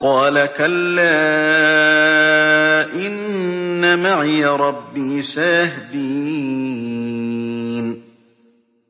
قَالَ كَلَّا ۖ إِنَّ مَعِيَ رَبِّي سَيَهْدِينِ